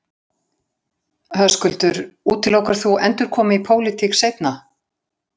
Höskuldur: Útilokar þú endurkomu í pólitík seinna?